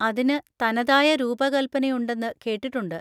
അതിന് തനതായ രൂപകൽപനയുണ്ടെന്ന് കേട്ടിട്ടുണ്ട്.